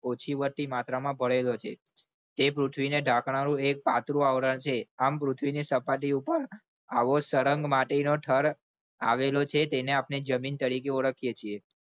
ઓછી વધતી માત્રામાં ભરેલો છે તે પૃથ્વીનું ઢાંકણા નું એક પાતળું આવરણ છે આ પૃથ્વીની સપાટી ઉપર આવો સળંગ માટીનો થર આવેલો છે તેને આપણે જમીન તરીકે ઓળખીએ છીએ.